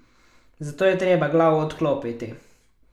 Zato je treba glavo odklopiti.